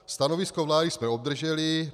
- Stanovisko vlády jsme obdrželi.